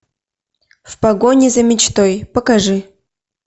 в погоне за мечтой покажи